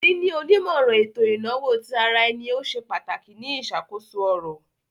Níni onímọ̀ran ètò inawo tí àrà ẹ̀nì o ṣẹ̀ ìpà pàtàkì ní iṣakoso ọ̀rọ̀.